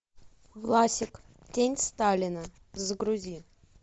власик тень сталина загрузи